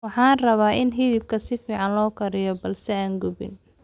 Waxaan rabaa in hilibka si fiican loo kariyo balse aan gubanin